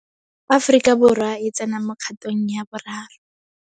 Aforika Borwa e tsena mo kgatong ya boraro.